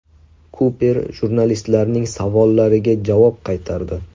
Kuper jurnalistlarning savollariga javob qaytardi.